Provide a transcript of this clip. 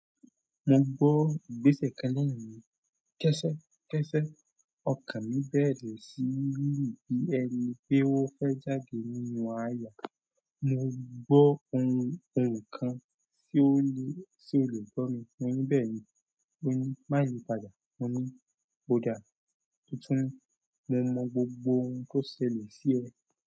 Mo gbọ́ gbèsè kan lẹ́nu mi. Kẹ́sẹ́kẹ́sẹ́ ọkàn mi bẹ̀rẹ̀ sí í rì bí ẹni pé ó fẹ́ jáde nínú àyà. Mo gbọ́ ohun ohùn kan tí ó le, tí o lè gbọ́ mi. Mo ní "Bẹ́ẹ̀ni." Ó ní, "Má yí padà." Mo ní, "Ó dáa." Ó tún ní, "Mo mo gbogbo ohun tó ṣẹlẹ̀ sí ẹ."